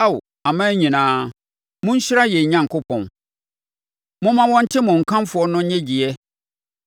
Ao aman nyinaa, monhyira yɛn Onyankopɔn, momma wɔnte mo nkamfo no nnyegyeɛ.